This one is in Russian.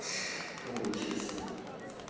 получше сфоткать